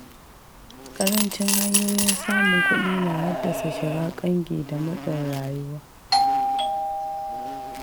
Ƙarancin hanyoyin samun kuɗi na haddasa shiga ƙangin da matsin rayuwa.